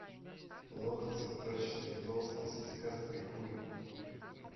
лох цветочный толстый сиськастый хуй